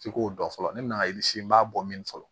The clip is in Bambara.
F'i k'o dɔn fɔlɔ ne me na n b'a bɔ min fɔlɔ